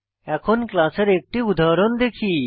এখন ক্লাস এর একটি উদাহরণ দেখি